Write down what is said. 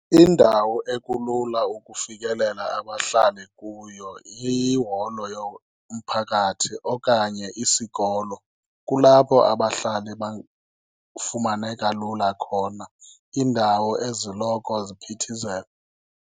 Indawo ekulula ukufikelela abahlali kuyo liholo yomphakathi okanye isikolo. Kulapho abahlali bafumaneka lula khona, iindawo eziloko ziphithizela.